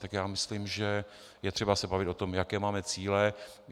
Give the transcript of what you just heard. Tak já myslím, že je třeba se bavit o tom, jaké máme cíle.